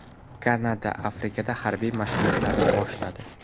Kanada Arktikada harbiy mashg‘ulotlarni boshladi.